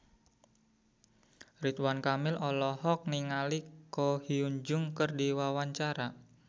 Ridwan Kamil olohok ningali Ko Hyun Jung keur diwawancara